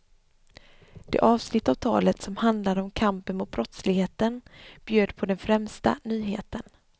Det avsnitt av talet som handlade om kampen mot brottsligheten bjöd på den främsta nyheten.